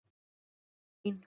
Góða nótt, amma mín.